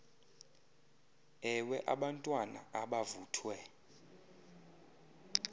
ewe abantwana abavuthwe